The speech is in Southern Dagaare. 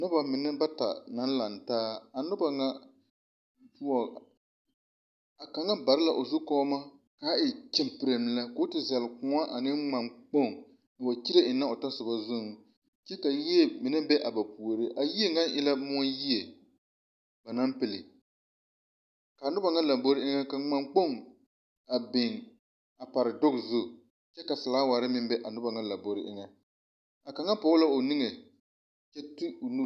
Noba mine bata naŋ lantaa a noba ŋa poɔ a kaŋa bare la o zu kɔma kaa e kyiŋkeriŋ lɛ ko o te zeŋ kóɔ ane ŋmane kpoŋ a wa kyire ennɛ o tasoba zuriŋ kyɛ ka yie mine be a ba puoriŋ a yie mine e la moɔ yie ba naŋ pilli a noba ŋa lambori era ka ŋman kpoŋi a biŋ a pare duge zu kyɛ ka felaaware meŋ be a noba ŋa lambori eŋa a kaŋa pɔge la o niŋe kyɛ de o nu